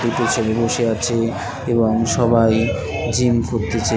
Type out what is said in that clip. দুটো ছেলে বসে আছে এবং সবাই জিম করতেছে।